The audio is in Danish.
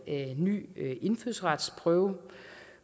en ny indfødsretsprøve